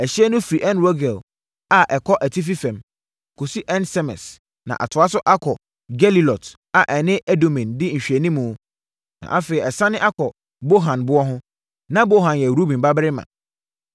Ɛhyeɛ no firi En-Rogel a ɛkɔ atifi fam, kɔsi En-Semes na atoa so akɔpem Gelilot a ɛne Adumim di nhwɛanimu na afei ɛsiane akɔ Bohan boɔ ho (Na Bohan yɛ Ruben babarima).